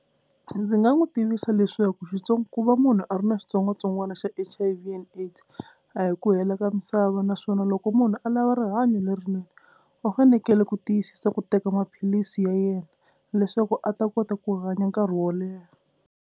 Ndzi nga n'wi tivisa leswaku ku va munhu a ri na xitsongwatsongwana xa H_I_V and AIDS a hi ku hela ka misava naswona loko munhu a lava rihanyo lerinene u fanekele ku tiyisisa ku teka maphilisi ya yena leswaku a ta kota ku hanya nkarhi wo leha.